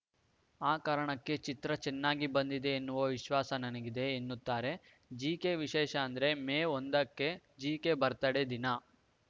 ಆ ಕಾರಣಕ್ಕೆ ಚಿತ್ರ ಚೆನ್ನಾಗಿ ಬಂದಿದೆ ಎನ್ನುವ ವಿಶ್ವಾಸ ನನಗಿದೆ ಎನ್ನುತ್ತಾರೆ ಜೆಕೆ ವಿಶೇಷ ಅಂದ್ರೆ ಮೇ ಒಂದಕ್ಕೆ ಜೆಕೆ ಬರ್ತ್ಡೇ ದಿನ